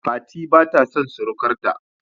Fati bata son surukar ta